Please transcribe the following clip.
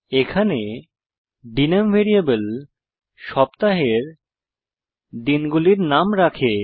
এখানে ডিএনএমই ভ্যারিয়েবল সপ্তাহের দিনগুলির নাম রাখে